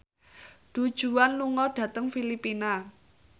Du Juan lunga dhateng Filipina